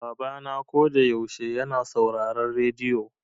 Baba na ko da yaushe yana sauraron rediyo.